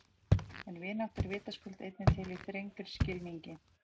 En vinátta er vitaskuld einnig til í þrengri skilningi.